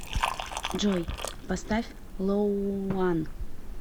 джой поставь лоуан